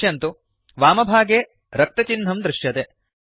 पश्यन्तु वामभागे रक्तचिह्नं दृश्यते